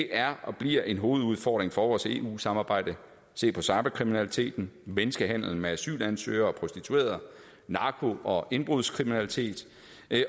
er og bliver en hovedudfordring for vores eu samarbejde se på cyberkriminalitet menneskehandel med asylansøgere og prostituerede narko og indbrudskriminalitet